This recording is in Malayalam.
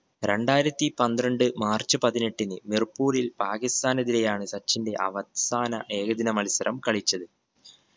രണ്ടായിരത്തി പന്ത്രണ്ട് മാർച്ച് പതിനെട്ടിന് മിർപൂരിൽ പാകിസ്താനെതിരെയാണ് സച്ചിന്റെ അവസാന ഏകദിന മത്സരം കളിച്ചത്